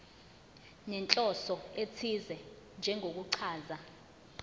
nenhloso ethize njengokuchaza